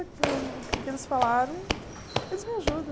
Que o que eles falaram, eles me ajudam.